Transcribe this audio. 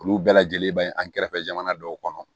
Olu bɛɛ lajɛlen baɲi an kɛrɛfɛ jamana dɔw kɔnɔ